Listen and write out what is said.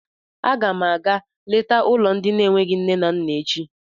A ga m àgá léta ụlọ ndị n'enweghị nne na nna echi